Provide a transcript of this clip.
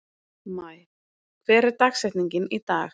Maj, hver er dagsetningin í dag?